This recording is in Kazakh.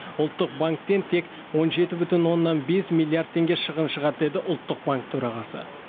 ұлттық банктен тек он жеті бүтін оннан бес миллиард теңге шығын шығады деді ұлттық банк төрағасы